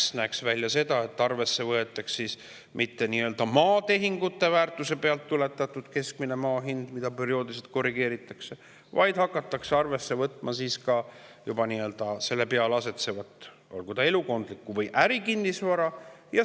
See näeks välja selline, et arvesse ei võetaks mitte maatehingute väärtuse pealt tuletatud keskmist maa hinda, mida perioodiliselt korrigeeritakse, vaid hakataks arvesse võtma ka selle peal asetsevat, olgu see elukondlik või ärikinnisvara.